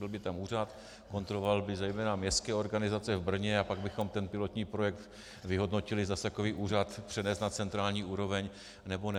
Byl by tam úřad, kontroloval by zejména městské organizace v Brně a pak bychom ten pilotní projekt vyhodnotili, zda takový úřad přenést na centrální úroveň, nebo ne.